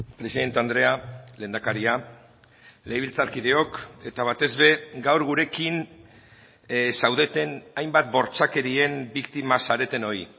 presidente andrea lehendakaria legebiltzarkideok eta batez ere gaur gurekin zaudeten hainbat bortxakerien biktima zaretenoi